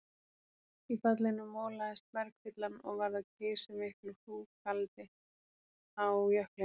Í fallinu molaðist bergfyllan og varð að geysimiklu hrúgaldi á jöklinum.